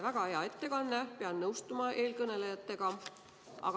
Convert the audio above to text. Väga hea ettekanne, pean nõustuma eelkõnelejatega.